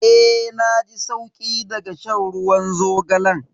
Eh na ji sauki daga shan ruwan zogalan.